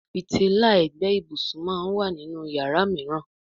Fìtílà ègbé ibùsùn món wá nínú iyàrá míràn.